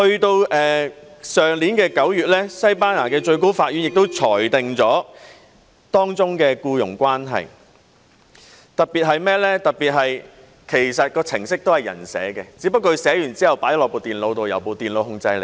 到了去年9月，西班牙的最高法院亦裁定了當中的僱傭關係，特別是程式其實是由人編寫的，只不過是編寫之後放進電腦內，由電腦控制。